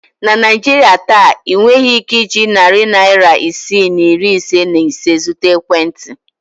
Na Naijiria taa, ị nweghị ike iji narị naịra isii na iri ise na ise zụta ekwentị.